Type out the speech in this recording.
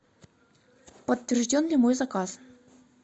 подтвержден ли мой заказ